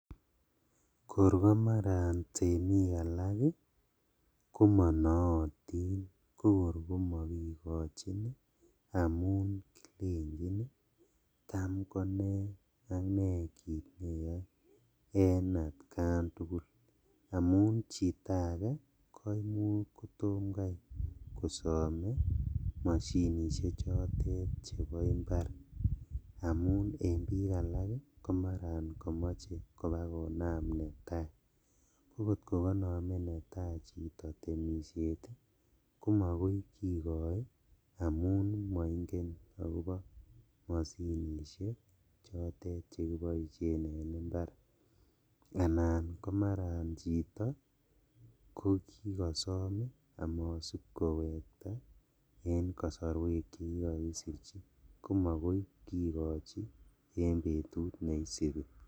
Korkomaran temik alak ii komonootin kokor komokikochin amun kilenjin cham kone ak nee kit neyoe en atkan tugul amun chito ake koimuch kotomkai kosome moshinishechotet chebo imbar amun en bik alak komaran komoche kobakonam netai kokot kokonome chito netaa boishet ii komokoi kikoi amun moingen akobo moshinishechotet chekiboishen en imbar anan komaran chito kokikosom amatsibkowekta en kosoruek chekikokisirchi.